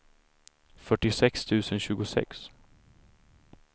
fyrtiosex tusen tjugosex